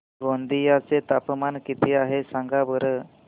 गोंदिया चे तापमान किती आहे सांगा बरं